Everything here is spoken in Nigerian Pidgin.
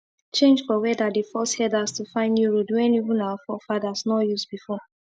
change for weather dey force herders to find new road wen even our forefather nor use before